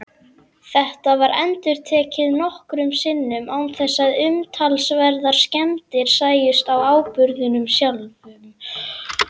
Þetta var endurtekið nokkrum sinnum án þess að umtalsverðar skemmdir sæjust á áburðinum sjálfum.